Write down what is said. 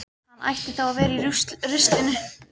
Hann ætti þá að vera í ruslinu.